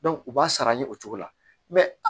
u b'a sara ni o cogo la